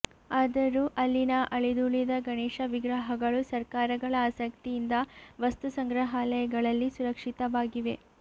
ಆದರೂ ಅಲ್ಲಿನ ಅಳಿದುಳಿದ ಗಣೇಶ ವಿಗ್ರಹಗಳು ಸರ್ಕಾರಗಳ ಆಸಕ್ತಿಯಿಂದ ವಸ್ತು ಸಂಗ್ರಹಾಲಂುುಗಳಲ್ಲಿ ಸುರಕ್ಷಿತವಾಗಿವೆ